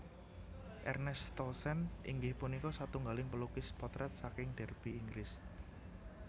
Ernest Townsend inggih punika satunggaling pelukis potrèt saking Derby Inggris